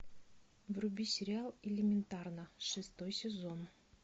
вруби сериал элементарно шестой сезон